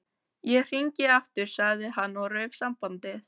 Ég hringi aftur sagði hann og rauf sambandið.